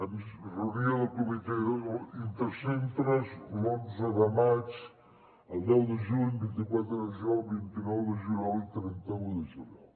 doncs reunió del comitè intercentres l’onze de maig el deu de juny el vint quatre de juliol el vint nou de juliol i el trenta un de juliol